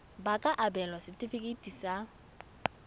ba ka abelwa setefikeiti sa